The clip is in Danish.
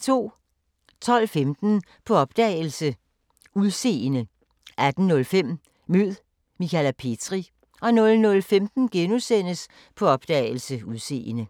12:15: På opdagelse – Udseende 18:05: Mød Michale Petri 00:15: På opdagelse – Udseende *